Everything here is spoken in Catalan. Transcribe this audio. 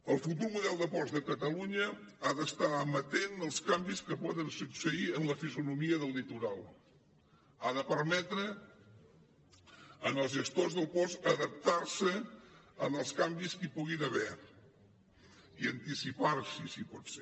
el futur model de ports de catalunya ha d’estar amatent als canvis que poden succeir en la fisonomia del litoral ha de permetre als gestors dels ports adaptar se als canvis que hi puguin haver i anticipar s’hi si pot ser